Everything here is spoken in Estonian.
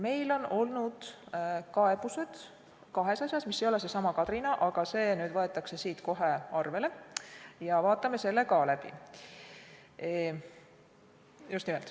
Meil on olnud kaebused kahes asjas, mis ei ole seesama Kadrina, aga see nüüd võetakse siin kohe arvele ja me vaatame selle ka läbi.